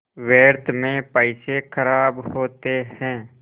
व्यर्थ में पैसे ख़राब होते हैं